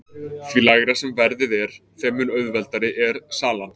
því lægra sem verðið er þeim mun auðveldari er salan